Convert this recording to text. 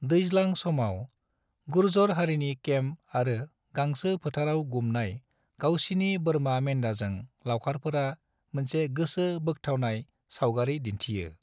दैज्लां समाव, गुर्जर हारिनि केम्प आरो गांसो फोथाराव गुमनाय गावसिनि बोरमा मेन्दाजों लावखारफोरा मोनसे गोसो बोखथाबनाय सावगारि दिन्थियो।